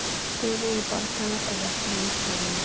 Stöðugir bardagar á vesturvígstöðvunum.